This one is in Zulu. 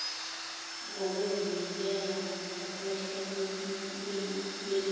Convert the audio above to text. ngokuzinikela ngokwehla benyuka